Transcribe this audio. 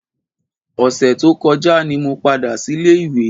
Ọ̀sẹ̀ tó kọjá ni mo padà sílé ìwé